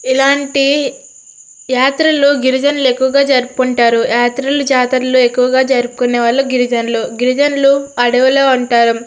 ఇలాంటి యాత్రలు గిరిజన ఎక్కువగా జరుపుకుంటారు. యాత్రలు జాతరలు ఎక్కువగా జరుపుకునే వాళ్ళు గిరిజనులు. గిరిజనులు అడవిలో ఉంటారు.